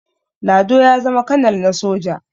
lado ya zama kanal na soja